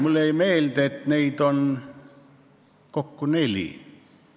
Mulle jäi meelde, et neid on kokku neli.